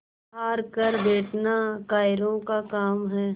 हार कर बैठना कायरों का काम है